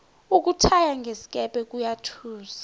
ukuthaya ngesikepe kuyathusa